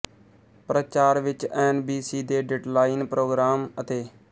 ਪ੍ਰਚਾਰ ਵਿੱਚ N B C ਦੇ ਡੇਟਲਾਈਨ ਪ੍ਰੋਗਰਾਮ ਅਤੇ